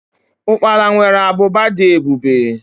ukpala nwere ábụbà dị ebube.